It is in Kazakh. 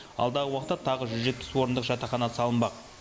алдағы уақытта тағы жүз жетпіс орындық жатақхана салынбақ